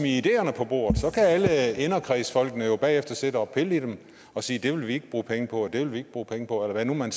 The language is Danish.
ideerne på bordet så kan alle inderkredsfolkene jo bagefter sidde og pille i dem og sige det vil vi ikke bruge penge på og det vil vi ikke bruge penge på eller hvad man